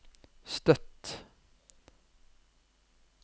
Støtt